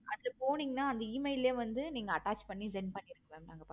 அதுல போனீங்கன்னா அந்த email லையே வந்து attach பண்ணி send பண்ணிடுங்க. ma'am